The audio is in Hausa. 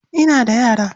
Ina da yara.